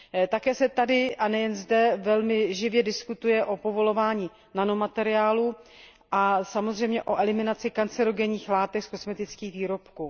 Také se tady a nejen zde velmi živě diskutuje o povolování nanomateriálů a samozřejmě o eliminaci karcinogenních látek z kosmetických výrobků.